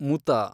ಮುತಾ